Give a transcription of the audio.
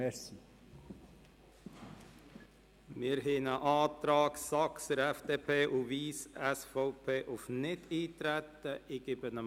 Es liegt ein Antrag der Grossräte Saxer, FDP, und Wyss, SVP, auf Nichteintreten vor.